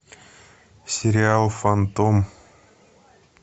сериал фантом